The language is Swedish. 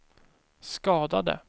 skadade